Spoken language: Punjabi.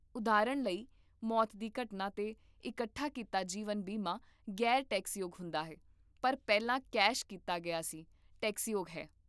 ਉਦਾਹਰਨ ਲਈ, ਮੌਤ ਦੀ ਘਟਨਾ 'ਤੇ ਇਕੱਠਾ ਕੀਤਾ ਜੀਵਨ ਬੀਮਾ ਗ਼ੈਰ ਟੈਕਸਯੋਗ ਹੁੰਦਾ ਹੈ, ਪਰ ਪਹਿਲਾਂ ਕੈਸ਼ ਕੀਤਾ ਗਿਆ ਸੀ, ਟੈਕਸਯੋਗ ਹੈ